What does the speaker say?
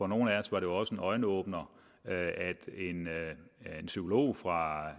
nogle af os var det også en øjenåbner at en psykolog fra